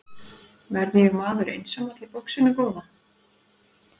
Verð ég maður einsamall í boxinu góða?